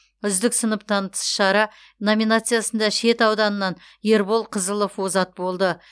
үздік сыныптан тыс шара номинациясында шет ауданынан ербол қызылов озат болды